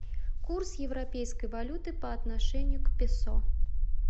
курс европейской валюты по отношению к песо